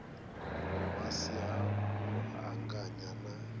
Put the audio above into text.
si ha u anganya na